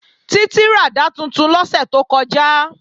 Títí ràdá tuntun lọ́sẹ̀ tó kọjá